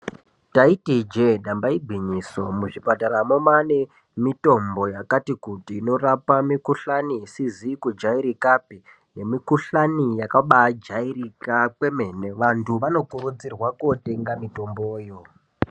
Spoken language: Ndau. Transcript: Ndaiti ijee nyamba igwinyiso. Muzvipataramo maane mitombo yakati -kuti inorapa mikhuhlani isizi kujairikapi nemikhuhlani yakabaajairika kwemene. Vantu vanokurudzirwa kootenga mitomboyo.